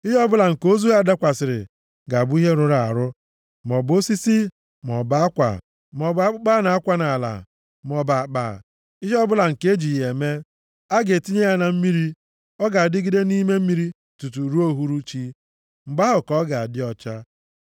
Ihe ọbụla nke ozu ha dakwasịrị ga-abụ ihe rụrụ arụ, maọbụ osisi, maọbụ akwa, maọbụ akpụkpọ a na-akwa nʼala, maọbụ akpa, ihe ọbụla nke eji ya eme. A ga-etinye ya na mmiri, ọ ga-adịgide nʼime mmiri tutu ruo uhuruchi, mgbe ahụ ka ọ ga-adị ọcha.